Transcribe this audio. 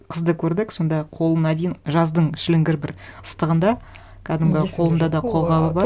қызды көрдік сонда қолына дейін жаздың шіліңгір бір ыстығында кәдімгі қолында да қолғабы бар